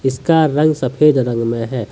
इसका रंग सफेद रंग में है।